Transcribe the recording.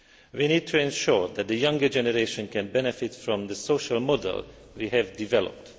We need to ensure that the younger generation can benefit from the social model we have developed.